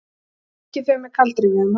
Svikið þau með kaldrifjuðum hætti.